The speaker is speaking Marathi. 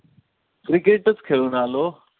Cricket चं खेळून आलो.